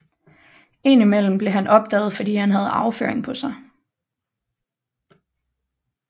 Indimellem blev han opdaget fordi han havde afføring på sig